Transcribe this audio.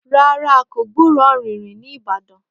Rárá a kò gburó ọ̀rìnrìn ní ìbàdàn